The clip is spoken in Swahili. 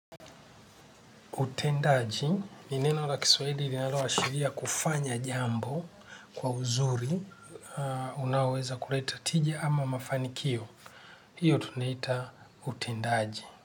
Utendaji, ni neno la Kiswahili ilinalo ashiria kufanya jambo kwa uzuri, unaoweza kuleta tija ama mafanikio, hiyo tunaita utendaji.